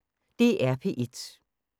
DR P1